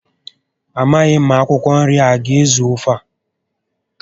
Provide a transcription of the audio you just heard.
Amaghị m ma akwụkwọ nri a aga ezu ofe a